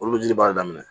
Olu bɛ jiri baara daminɛ